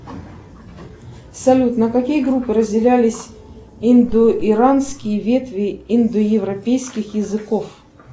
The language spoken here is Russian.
салют на какие группы разделялись индоиранские ветви индоевропейских языков